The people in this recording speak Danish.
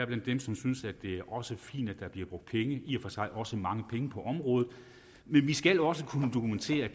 blandt dem som synes at det også fint at der bliver brugt penge i og for sig også mange penge på området men vi skal også kunne dokumentere